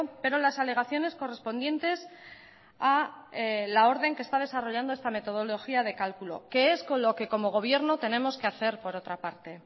pero las alegaciones correspondientes a la orden que está desarrollando esta metodología de cálculo que es con lo que como gobierno tenemos que hacer por otra parte